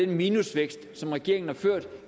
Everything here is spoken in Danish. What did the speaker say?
minusvækst som regeringen har ført